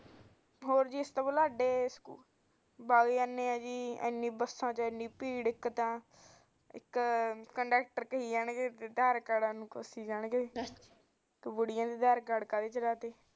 ਬਸਾਂ ਚ ਐਨੀ ਭੀੜ ਕੰਡੈਕਟਰ ਪੁਛੀ ਜਾਣਗੇ ਬੁੜੀਆਂ ਨੂੰ ਆਧਾਰ ਕਾਰਡ ਬਾਰੇ